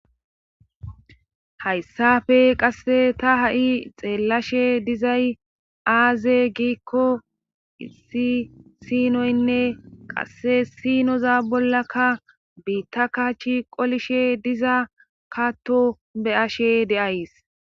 Hayssafe qasse ta ha7i xeellashe dizay aaze giikko issi sinoynne qasse sinoza bollakka biitta kaachi qolishe diza katto be ashe de7ays